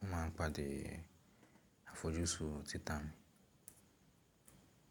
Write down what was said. Mo máa pàdé àfojúsùn títà mi.